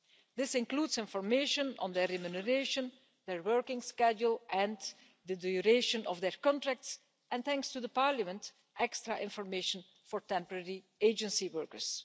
This includes information on their remuneration, their working schedule and the duration of their contracts, and thanks to Parliament, extra information for temporary agency workers.